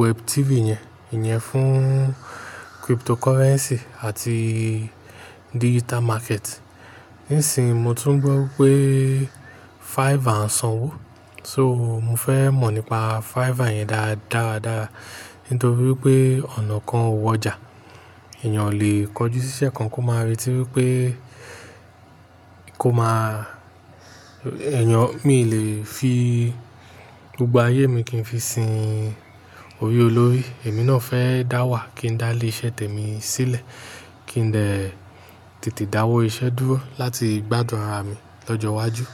web 3 yẹn, ìyẹn fún cryptocurrency àti digital market. Nísìn yi, mo tún gbọ́ pé Fiverr ń sanwó, so mo fẹ́ mọ̀ nípa Fiverr yẹn dára dára. Nítorí pé ọ̀nà kan ò wọjà, èèyàn o lè kọjú siṣẹ́ kan kó máa re tí wi pé kó máa, èèyàn, mi lè fi gbogbo ayé mi kí n fi sin orí olórí. Èmi náà fẹ́ dáwà kí n dá ilé iṣẹ́ temi sílẹ̀ kí n dẹ tètè dáwọ́ iṣẹ́ dúró láti gbádùn ara mi lọ́jọ́ iwájú.